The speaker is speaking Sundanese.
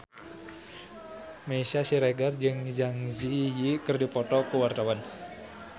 Meisya Siregar jeung Zang Zi Yi keur dipoto ku wartawan